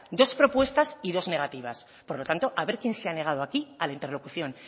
dos propuestas y dos negativas por lo tanto a ver quién se ha negado aquí a la interlocución